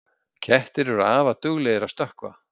Kettir eru afar duglegir að stökkva.